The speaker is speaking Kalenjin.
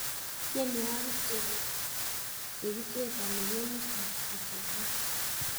tienwokik chekichesani kongusa achesan